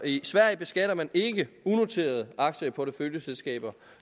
i sverige beskatter man ikke unoterede aktier i porteføljeselskaber